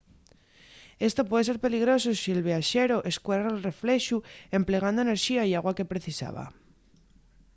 esto puede ser peligroso si’l viaxeru escuerre’l reflexu emplegando enerxía y agua que precisaba